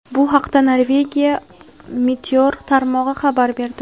Bu haqda Norvegiya meteor tarmog‘i xabar berdi.